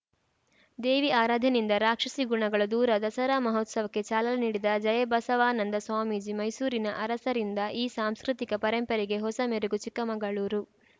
ದೇವಿ ಆರಾಧನೆಯಿಂದ ರಾಕ್ಷಸಿ ಗುಣಗಳು ದೂರ ದಸರಾ ಮಹೋತ್ಸವಕ್ಕೆ ಚಾಲನೆ ನೀಡಿದ ಜಯಬಸವಾನಂದ ಸ್ವಾಮೀಜಿ ಮೈಸೂರಿನ ಅರಸರಿಂದ ಈ ಸಾಂಸ್ಕೃತಿಕ ಪರಂಪರೆಗೆ ಹೊಸ ಮೆರಗು ಚಿಕ್ಕಮಂಗಳೂರು